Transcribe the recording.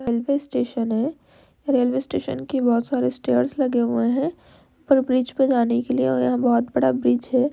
Railway station है | railway station के बोहोत सारे स्टैर्स लगे हुए हैं और ब्रिज पे जाने के लिए और यहाँ बोहोत बड़ा ब्रिज है ।